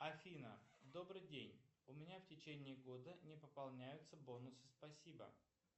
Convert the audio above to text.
афина добрый день у меня в течении года не пополняются бонусы спасибо